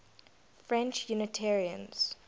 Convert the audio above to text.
french unitarians